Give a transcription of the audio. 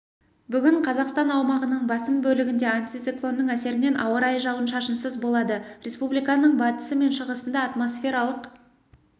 бүгін қазақстан аумағының басым бөлігінде антициклонның әсерінен ауа райы жауын-шашынсыз болады республиканың батысы мен шығысында атмосфералық